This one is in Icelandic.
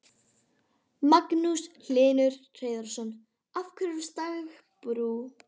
Magnús Hlynur Hreiðarsson: Af hverju stagbrú?